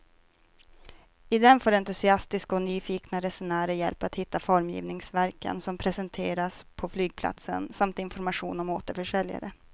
I den får entusiastiska och nyfikna resenärer hjälp att hitta formgivningsverken som presenteras på flygplatsen samt information om återförsäljare.